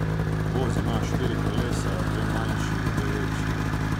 Voz ima štiri kolesa, dve manjši in dve večji.